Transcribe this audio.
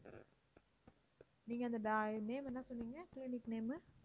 நீங்க அந்த name என்ன சொன்னீங்க clinic name உ